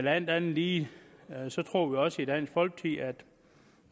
alt andet lige også